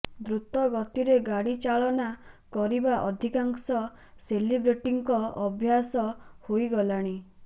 ଦ୍ରୁତ ଗତିରେ ଗାଡ଼ି ଚାଳନା କରିବା ଅଧିକାଂଶ ସେଲିବ୍ରେଟିଙ୍କ ଅଭ୍ୟାସ୍ ହୋଇଗଲାଣି